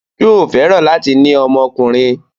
Yóò fẹ́ràn láti ní ọmọkùnrin.